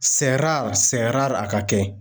a ka kɛ.